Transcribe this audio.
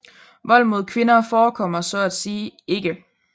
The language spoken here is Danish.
Vold mod kvinder forekommer så at sige ikke